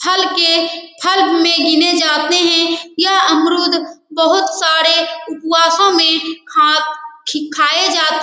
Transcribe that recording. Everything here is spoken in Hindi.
फल के गिने जाते हैं यह अमरुद बहुत सारे उपवासों में खा खाये जाते --